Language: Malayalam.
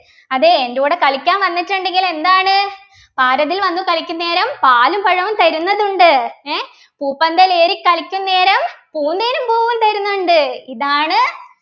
അതെ എൻ്റെ കൂടെ കളിക്കാൻ വന്നിട്ടുണ്ടെങ്കിൽ എന്താണ് പാരതിൽ വന്നു കളിക്കുന്നേരം പാലും പഴവും തരുന്നതുണ്ട് ഏർ പൂപ്പന്തലേറിക്കളിക്കുന്നേരം പൂന്തേനും പൂവും തരുന്നതുണ്ട് ഇതാണ്